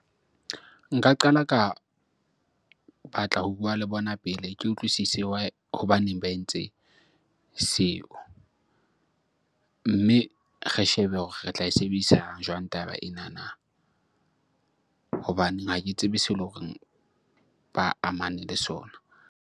Nka qala ka batla ho bua le bona pele ke utlwisise why, hobaneng ba entse seo? Mme re shebe hore re tla e sebedisa jwang taba enana hobaneng ha ke tsebe seo eleng hore ba amane le sona.